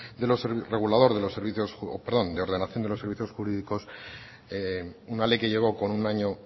regulador de la ordenación de los servicios jurídicos una ley que llegó con un año